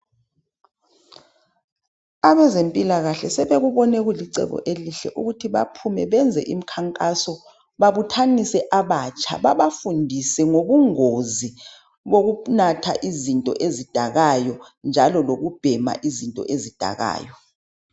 Abezempilakahle sebekubone kulicebo elihle lokubuthanisa abatsha. Babafundise ngobungozi bokunatha izinto eidakayo. Lokubhema uzinto ezidakayo.